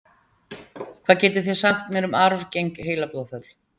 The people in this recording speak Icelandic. hvað getið þið sagt mér um arfgeng heilablóðföll